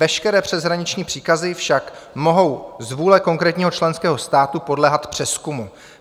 Veškeré přeshraniční příkazy však mohou z vůle konkrétního členského státu podléhat přezkumu.